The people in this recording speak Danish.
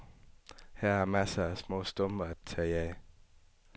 Her er masser af små stumper at tage af.